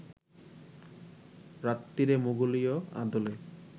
রাত্তিরে মোঘলীয় আদলে